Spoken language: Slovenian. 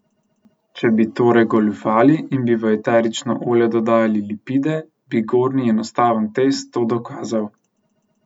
Če bi torej goljufali in bi v eterično olje dodajali lipide, bi gornji enostaven test to dokazal.